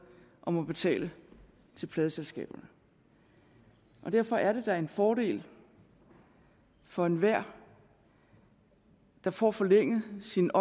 og må betale til pladeselskaberne derfor er det da en fordel for enhver der får forlænget sin